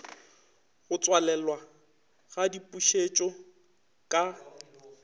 go tswalelwa ga dipušetšo ka